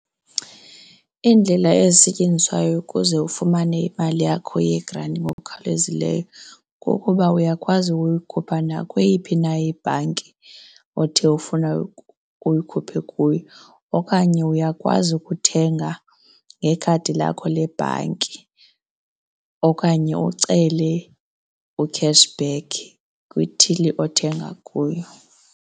Iindlela ezisetyenziswayo ukuze ufumane imali yakho yegranti ngokukhawulezileyo kukuba uyakwazi ukuyikhupha nakweyiphi na ibhanki othe ufuna uyikhupha kuyo, okanye uyakwazi ukuthenga ngekhadi lakho lebhanki okanye ucele u-cash back kwithili othenga kuyo.